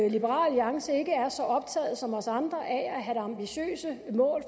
at liberal alliance ikke er så optaget som os andre af at have ambitiøse mål